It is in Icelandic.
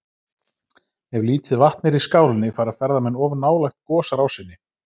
Ef lítið vatn er í skálinni fara ferðamenn of nálægt gosrásinni.